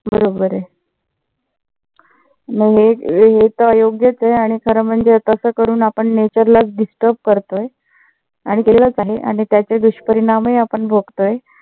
बरोबर आहे. मग हे तर अयोग्यच आहे. आणि खर म्हणजे आपण nature लाच disturb करतोय आणि केलच आहे. आणि त्याचे दुष्परिणामही आपण भोगतोय.